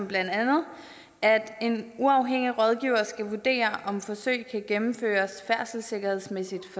blandt andet at en uafhængig rådgiver skal vurdere om forsøg kan gennemføres færdselssikkerhedsmæssigt